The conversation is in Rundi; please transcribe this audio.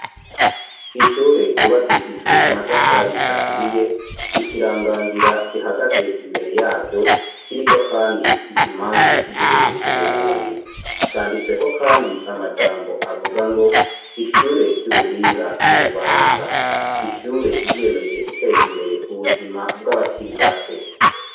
ishure ryubakishijwe amatafari aturiye. Ikiranganzira gihagaze imbere yaryo, kiriko kandi ikimangu c'igihugu c'Uburundi. Canditsweko kandi amajambo avuga ngo:" ishure ry'ubuhinga ry'i Bubanza." Ishure ryiyemeje guteza imbere ubuzima bw'abakiri bato.